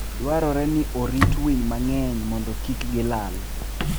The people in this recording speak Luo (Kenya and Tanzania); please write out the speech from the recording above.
Dwarore ni orit winy mang'eny mondo kik gilal.